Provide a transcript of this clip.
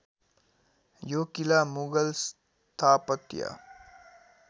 यो किला मुगल स्थापत्य